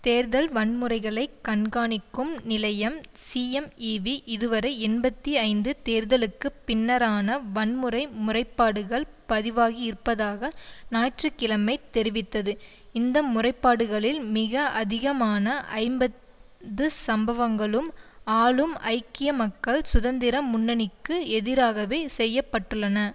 தேர்தல் வன்முறைகளைக் கண்காணிக்கும் நிலையம் சிஎம்ஈவி இதுவரை எண்பத்தி ஐந்து தேர்தலுக்கு பின்னரான வன்முறை முறைப்பாடுகள் பதிவாகியிருப்பதாக ஞாயிற்று கிழமை தெரிவித்தது இந்த முறைப்பாடுகளில் மிக அதிகமான ஐம்பது சம்பவங்களும் ஆளும் ஐக்கிய மக்கள் சுதந்திர முன்னணிக்கு எதிராகவே செய்ய பட்டுள்ளன